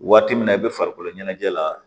Waati min na i bɛ farikolo ɲɛnajɛ la